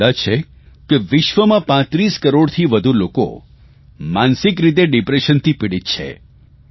એક અંદાજ છે કે વિશ્વમાં 35 કરોડથી વધુ લોકો માનસિક રીતે ડિપ્રેશનથી પિડિત છે